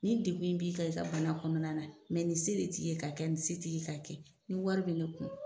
Nin degun in b'i kan i ka bana kɔnɔna na mɛ nin se de t'i ye ka kɛ nin se t'i ye ka kɛ. Ni wari bɛ ne kun,